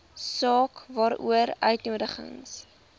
saak waaroor uitnodigings